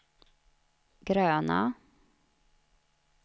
gröna